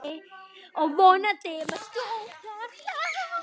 Og vonandi með stórt hjarta.